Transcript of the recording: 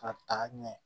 K'a ta ɲɛ